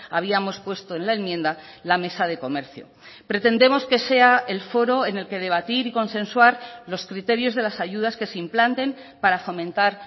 habíamos puesto en la enmienda la mesa de comercio pretendemos que sea el foro en el que debatir y consensuar los criterios de las ayudas que se implanten para fomentar